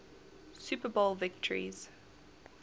super bowl victories